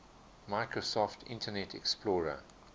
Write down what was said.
microsoft internet explorer